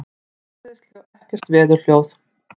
Það heyrist ekkert veðurhljóð.